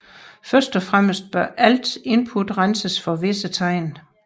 Først og fremmest bør ALT input renses for visse tegn